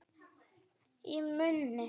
Í munni